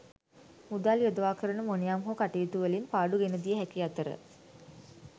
මුදල් යොදවා කරන මොනයම් හෝ කටයුතුවලින් පාඩු ගෙනදිය හැකි අතර